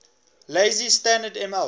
lazy standard ml